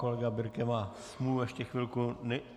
Kolega Birke má smůlu, ještě chvilku.